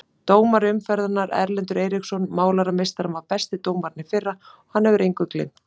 Dómari umferðarinnar: Erlendur Eiríksson Málarameistarinn var besti dómarinn í fyrra og hann hefur engu gleymt.